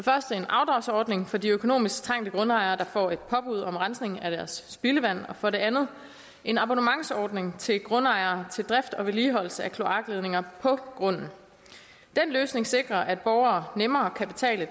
en afdragsordning for de økonomisk trængte grundejere der får et påbud om rensning af deres spildevand og for det andet en abonnementsordning til grundejere til drift og vedligeholdelse af kloakledningerne på grunden den løsning sikrer at borgere nemmere kan betale